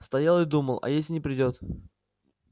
стоял и думал а если не придёт